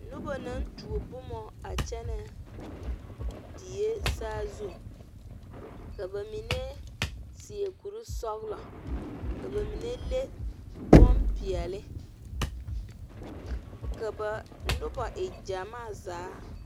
Noba naŋ tuo boma a kyɛne die saazu, ka ba mine seɛ kuri sɔglɔ , ka ba mine le bonpɛɛle ka noba e gyamaa zaa.